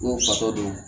N'o fatɔ do